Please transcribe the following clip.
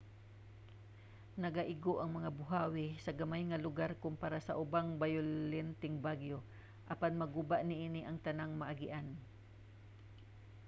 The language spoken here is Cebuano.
nagaigo ang mga buhawi sa gamay nga lugar kompara sa ubang bayolenteng bagyo apan maguba niini ang tanang maagian